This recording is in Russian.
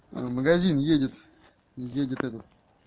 магазин едет едет этот